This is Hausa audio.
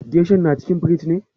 Geshan na cikin firij ne?